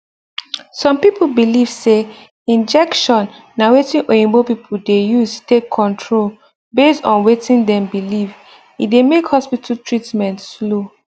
some people believe say injection na wetin oyinbo people dey use take control based on wetin dem believe e dey make hospital treatment slow